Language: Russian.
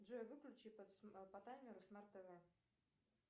джой выключи по таймеру смарт тв